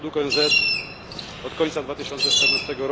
Według ONZ od końca 2014